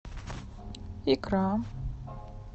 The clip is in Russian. икра